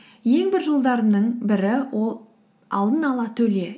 ең бір жолдарымның бірі ол алдын ала төле